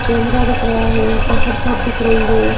Camera दिख रहा है ऊपर छत दिख रही हैं।